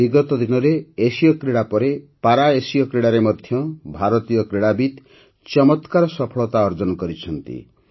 ବିଗତ ଦିନରେ ଏସୀୟକ୍ରୀଡ଼ା ପରେ ପାରାଏସୀୟ କ୍ରୀଡ଼ାରେ ମଧ୍ୟ ଭାରତୀୟ କ୍ରୀଡ଼ାବିତ୍ ଚମତ୍କାର ସଫଳତା ଅର୍ଜନ କରିଛନ୍ତି